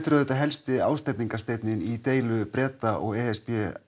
er auðvitað helsti ásteytingarsteinninn í deilu Breta og e s b